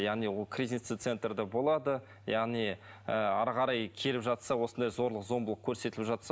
яғни ол кризисный центрда болады яғни ыыы әрі қарай келіп жатса осындай зорлық зомбылық көрсетіліп жатса